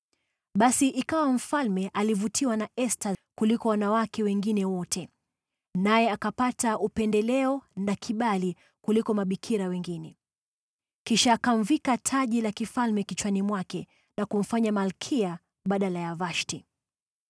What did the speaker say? Basi ikawa mfalme alivutiwa na Esta kuliko wanawake wengine wote, naye akapata upendeleo na kibali kuliko mabikira wengine. Kisha akamvika taji la kifalme kichwani mwake na kumfanya malkia badala ya Vashti.